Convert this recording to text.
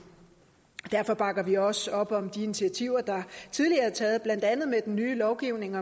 derfor bakker vi også op om de initiativer der tidligere er taget blandt andet med den nye lovgivning